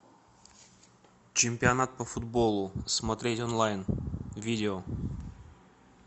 чемпионат по футболу смотреть онлайн видео